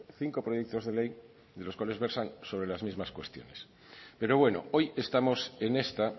cinco proyectos de ley de los cuales versan sobre las mismas cuestiones pero bueno hoy estamos en esta